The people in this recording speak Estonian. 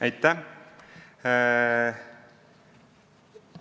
Aitäh!